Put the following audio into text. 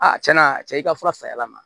A cɛna cɛ i ka fura say'a ma